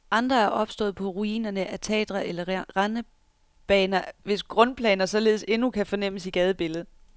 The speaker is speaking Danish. Andre er opstået på ruinerne af teatre eller rendebaner, hvis grundplaner således endnu kan fornemmes i gadebilledet.